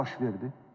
Nə baş verdi?